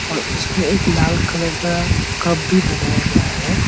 और उसमें एक लाल कलर का कप भी बनाया गया है।